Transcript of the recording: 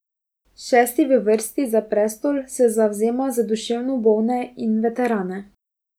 Šesti v vrsti za prestol se zavzema za duševno bolne in veterane.